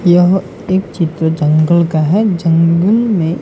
यह एक चित्र जंगल का है जंगल में--